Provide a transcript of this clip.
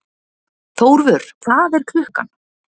Þórvör, hvað er klukkan?